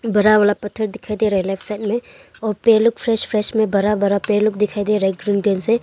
बड़ा वाला पत्थर दिखाई दे रहा है लेफ्ट साइड में और पेड़ लोग फ्रेस फ्रेस में बड़ा बड़ा पेड़ लोग दिखाई दे रहा है ग्रीन कलर से--